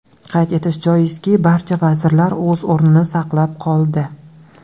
Qayd etish joizki, barcha vazirlar o‘z o‘rnini saqlab qoldi.